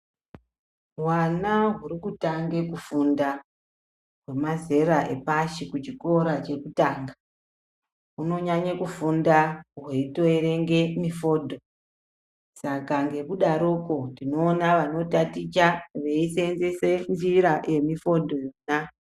Hwana huri kutange kufunda wemazera epashkui chikora chekutanga unonyanye kufunda weitoverenge mifodho saka nekudaro poo tinoona vanotaticha veiseenzese njira yemifodho yona.